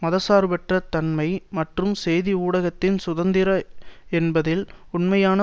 மதசார்பற்ற தன்மை மற்றும் செய்தி ஊடகத்தின் சுதந்திரம் என்பதில் உண்மையான